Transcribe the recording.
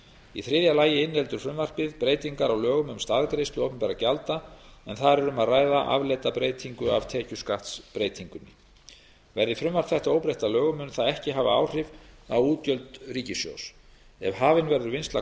í þriðja lagi inniheldur frumvarpið breytingar á lögum um staðgreiðslu opinberra gjalda en þar er um að ræða afleidda breytingu af tekjuskattsbreytingunni verði frumvarp þetta óbreytt að lögum mun það ekki hafa áhrif á útgjöld ríkissjóðs ef hafin verður vinnsla